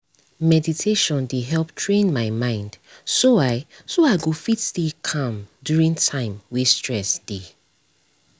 meditation dey help train my mind so i so i go fit stay calm during time wey stress dey